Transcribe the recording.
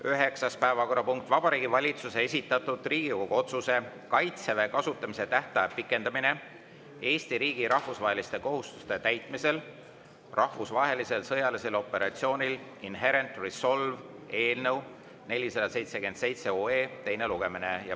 Üheksas päevakorrapunkt: Vabariigi Valitsuse esitatud Riigikogu otsuse "Kaitseväe kasutamise tähtaja pikendamine Eesti riigi rahvusvaheliste kohustuste täitmisel rahvusvahelisel sõjalisel operatsioonil Inherent Resolve" eelnõu 477 teine lugemine.